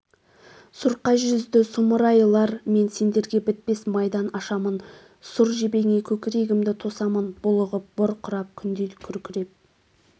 сұрқай жүзді сұмырайлар мен сендерге бітпес майдан ашамын сұр жебеңе көкірегімді тосамын булығып бұрқырап күндей күркіреп